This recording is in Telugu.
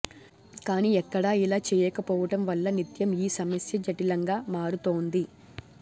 కాని ఎక్కడా ఇలా చేయక పోవటం వల్ల నిత్యం ఈ సమస్య జఠిలంగా మారుతోంది